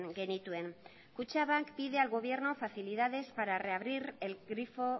genituen kutxabank pide al gobierno facilidades para reabrir el grifo